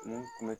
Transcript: Ni kun